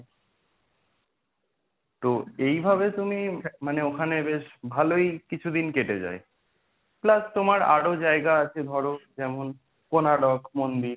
তো এইভাবে তুমি মানে ওখানে বেশ ভালোই কিছুদিন কেটে যায়। Plus তোমার আরো জায়গা আছে ধরো যেমন কোনাড়ক মন্দির,